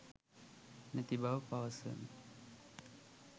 නැති බව පවසමි.